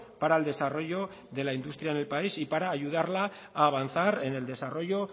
para el desarrollo de la industria en el país y para ayudarla a avanzar en el desarrollo